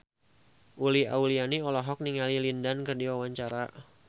Uli Auliani olohok ningali Lin Dan keur diwawancara